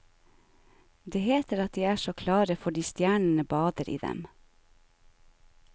Det heter at de er så klare fordi stjernene bader i dem.